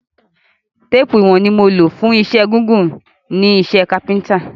Téèpù ìwọ̀n ni mo lò fún wíwọn gígùn nínú iṣẹ́ kápẹ́ntà